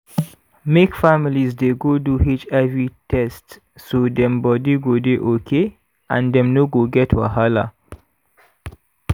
make families dey go do hiv test so dem body go dey okay and dem no go get wahala.